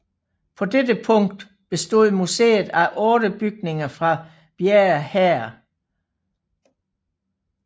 På dette tidspunkt bestod museet af 8 bygninger fra Bjerre Herred